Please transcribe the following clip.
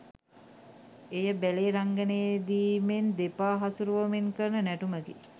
එය බැලේ රංගනයේදීමෙන් දෙපා හසුරුවමින් කරන නැටුමකි